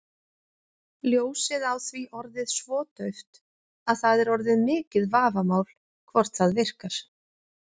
Ljósið á því orðið svo dauft að það er orðið mikið vafamál hvort það virkar.